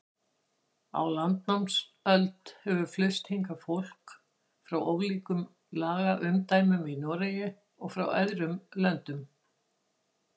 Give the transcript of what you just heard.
Á landnámsöld hefur flust hingað fólk frá ólíkum lagaumdæmum í Noregi og frá öðrum löndum.